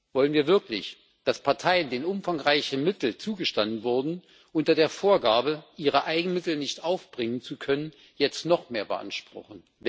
Wollen wir wirklich, dass Parteien, denen umfangreiche Mittel zugestanden wurden, unter der Vorgabe, ihre Eigenmittel nicht aufbringen zu können, jetzt noch mehr beanspruchen?